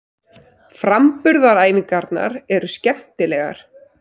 Framburðaræfingarnar eru skemmtilegar.